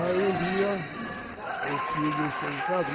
Aí um dia, o filho chega em casa.